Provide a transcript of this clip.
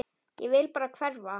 Ég vil bara hverfa.